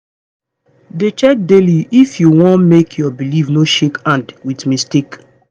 dey check daily if you wan make your belief no shake hand with mistake.